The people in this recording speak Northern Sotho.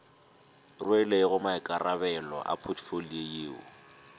rwelego boikarabelo bja potfolio yeo